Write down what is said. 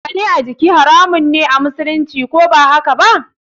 Zane a jiki haramun me amusulunci, ko bahakaba?